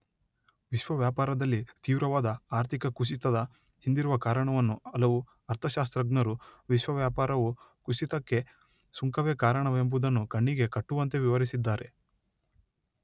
ವಿಶ್ವ ವ್ಯಾಪಾರದಲ್ಲಿ ತೀವ್ರವಾದ ಆರ್ಥಿಕ ಕುಸಿತದ ಹಿಂದಿರುವ ಕಾರಣವನ್ನು ಹಲವು ಅರ್ಥಶಾಸ್ತ್ರಜ್ಞರು ವಿಶ್ವ ವ್ಯಾಪಾರವು ಕುಸಿತಕ್ಕೆ ಸುಂಕವೇ ಕಾರಣವೆಂಬುದನ್ನು ಕಣ್ಣಿಗೆಕಟ್ಟುವಂತೆ ವಿವರಿಸಿದ್ದಾರೆ